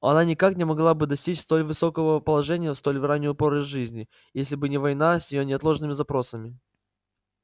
она никак не могла бы достичь столь высокого положения в столь раннюю пору жизни если бы не война с её неотложными запросами